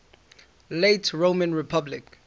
late roman republic